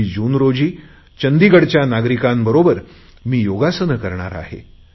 21 जून रोजी चंदीगडच्या नागरिकांबरोबर मी योगासन करणार आहे